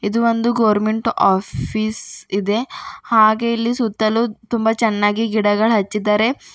ಇದು ಒಂದು government office ಇದೆ ಹಾಗೆ ಇಲ್ಲಿ ಸುತ್ತಲೂ ತುಂಬಾ ಚೆನ್ನಾಗಿ ಗಿಡಗಳು ಹಚ್ಚಿದ್ದಾರೆ.